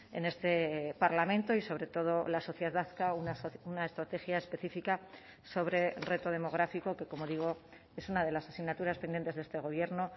en este parlamento y sobre todo la sociedad vasca una estrategia específica sobre reto demográfico que como digo es una de las asignaturas pendientes de este gobierno